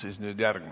Aitäh!